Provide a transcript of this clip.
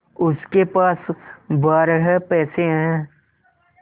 उसके पास बारह पैसे हैं